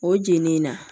O jenini na